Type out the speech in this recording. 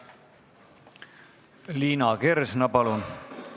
Liina Kersna, palun!